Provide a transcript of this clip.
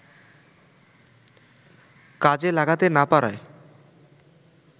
কাজে লাগাতে না পারায়